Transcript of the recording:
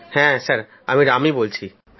হ্যাঁ আমি রাম বলছি